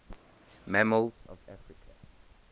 mammals of africa